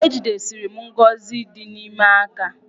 Ejidesiri m ngọzị ịdị ime aka.